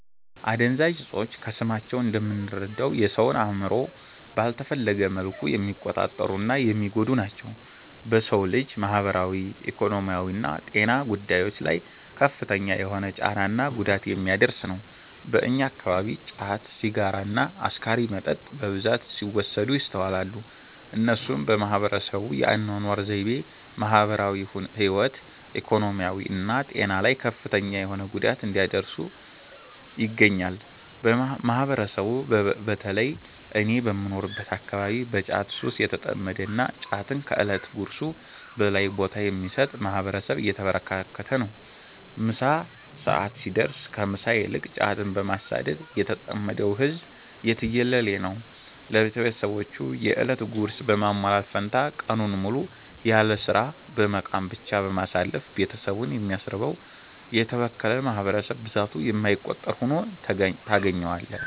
አደንዛዥ እፆች ከስማቸው እንደምንረዳው የ ሰውን አእምሮ ባልተፈለገ መልኩ የሚቆጣጠሩ እና የሚጎዱ ናቸው። በ ሰው ልጅ ማህበራዊ፣ ኢኮኖሚያዊና ጤና ጉዳዮች ላይ ከፍተኛ የሆነ ጫና እና ጉዳት የሚያደርስ ነው። በእኛ አከባቢ ጫት፣ ሲጋራ እና አስካሪ መጠጥ በብዛት ሲወሰድ ይስተዋላል። እነሱም በህብረተሰቡ የ አናኗር ዘይቤ፣ ማህበራዊ ህይወት፣ ኢኮኖሚ እና ጤና ላይ ከፍተኛ የሆነ ጉዳት እያደረሱ ይገኛሉ። ማህበረሰቡ በ ተለይም እኔ በምኖርበት አከባቢ በ ጫት ሱስ የተጠመደ እና ጫትን ከ እለት ጉርሱ በላይ ቦታ የሚሰጥ ማህበረሰብ የተበራከተበት ነው። ምሳ ሰዐት ሲደርስ ከ ምሳ ይልቅ ጫትን በማሳደድ የተጠመደው ህዝብ የትየለሌ ነው። ለቤትሰቦቹ የ እለት ጉርስ በማሟላት ፈንታ ቀኑን ሙሉ ያለስራ በመቃም ብቻ በማሳለፍ ቤትሰቡን የሚያስርበው: የተበከለ ማህበረሰብ ብዛቱ የማይቆጠር ሁኖ ታገኛዋለህ።